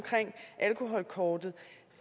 alkoholkortet